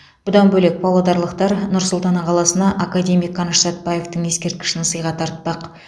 бұдан бөлек павлодарлықтар нұр сұлтан қаласына академик қаныш сәтбаевтың ескерткішін сыйға тартпақ